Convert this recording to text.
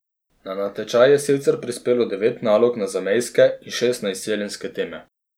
Na natečaj je sicer prispelo devet nalog na zamejske in šest na izseljenske teme.